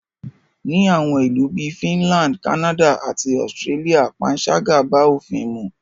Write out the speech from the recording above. Ni àwọn ìlú bí i Finland, Canada àti Austria panṣágà bá òfin mu.